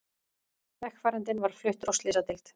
Vegfarandinn var fluttur á slysadeild